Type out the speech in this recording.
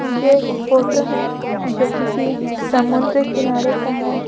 ये एक फोटो है जो किसी समुद्र किनारे का है।